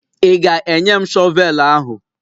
Ị ga-enye m shọvel ahụ?